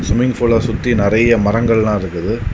Swimming பூல சுத்தி நிறைய மரங்கள் எல்லாம் இருக்குது.